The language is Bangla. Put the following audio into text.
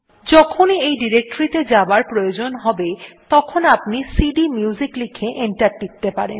যখনই এই ডিরেক্টরীটি তে যাবার প্রয়োজন হবে তখনি আপনি সিডিএমইউজিক লিখে এন্টার টিপতে পারেন